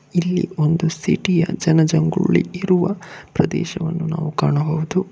ಇಲ್ಲಿ ಒಂದು ಸಿಟಿ ಯ ಜನಜಂಗುಳಿ ಇರುವ ಪ್ರದೇಶವನ್ನು ನಾವು ಕಾಣಬಹುದು.